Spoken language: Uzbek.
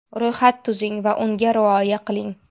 Ro‘yxat tuzing Va unga rioya qiling.